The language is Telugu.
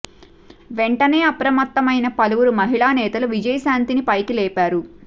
వెంటనే అప్రమత్తమైన పలువురు మహిళా నేతలు విజయశాంతిని పైకి లేపారు